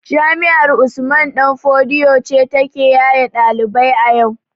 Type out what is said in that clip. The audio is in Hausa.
Jami'ar usman ɗan fodio ce ta ke yaye ɗalibai a yau